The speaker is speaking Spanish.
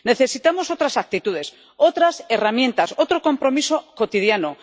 Necesitamos otras actitudes, otras herramientas, otro compromiso cotidiano.